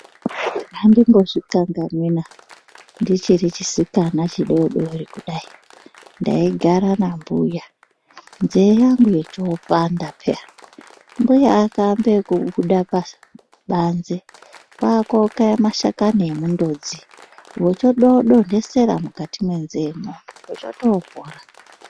Andimbozvikanganwina ndichiri chisikana chidodori kudai ndaigare nambuya nzee yangu yochopanda paya mbuya akambe ekubuda pabanze kwakokaye mashakani emundodzi vochotodontesera mukati mwenzeye mwo zvochotopora.